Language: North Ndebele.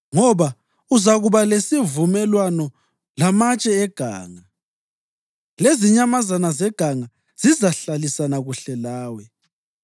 Ngoba uzakuba lesivumelwano lamatshe eganga, lezinyamazana zeganga zizahlalisana kuhle lawe.